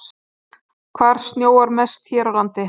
Hvar snjóar mest hér á landi?